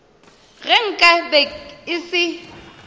ge nka be e se